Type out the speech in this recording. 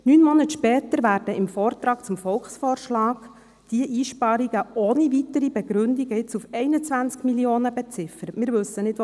Neun Monate später werden im Vortrag zum Volksvorschlag diese Einsparungen ohne weitere Begründung jetzt mit